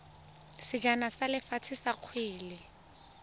sejana sa lefatshe sa kgwele